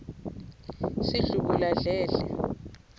sidlubuladledle